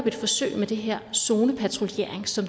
et forsøg med den her zonepatruljering som